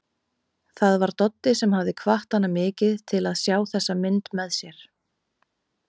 Það var Doddi sem hafði hvatt hann mikið til að sjá þessa mynd með sér.